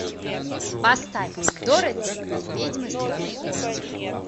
поставь дороти и ведьмы страны оз